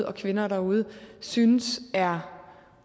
og kvinder derude synes er